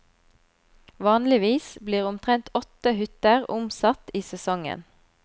Vanligvis blir omtrent åtte hytter omsatt i sesongen.